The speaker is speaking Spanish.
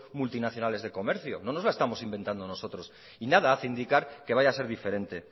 multinacionales de comercio no nos la estamos inventando nosotros y nada hace indicar que vaya a ser diferente